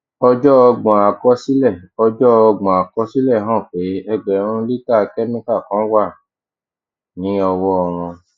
ọjọ ọgbọn àkọsílẹ ọjọ ọgbọn àkọsílẹ hàn pé ẹgbèrún lítà kẹmíkà kan wà ní ọwọ wọn